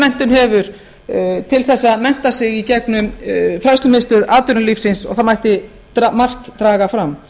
menntun hefur til að mennta sig í gegnum fræðslumiðstöð atvinnulífsins og þar mætti margt draga fram